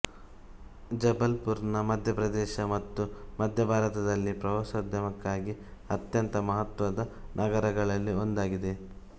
ಜಬಲ್ಪುರ್ ಮಧ್ಯ ಪ್ರದೇಶ ಮತ್ತು ಮಧ್ಯ ಭಾರತದಲ್ಲಿ ಪ್ರವಾಸೋದ್ಯಮಕ್ಕಾಗಿ ಅತ್ಯಂತ ಮಹತ್ವದ ನಗರಗಳಲ್ಲಿ ಒಂದಾಗಿದೆ